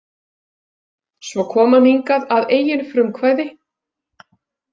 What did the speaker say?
Svo kom hann hingað að eigin frumkvæði.